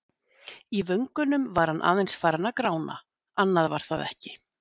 Í vöngunum var hann aðeins farinn að grána, annað var það ekki.